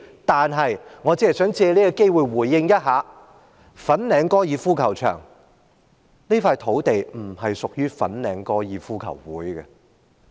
但是，我只是想藉此機會回應一下，粉嶺高爾夫球場這塊土地並不屬於香港哥爾夫球會。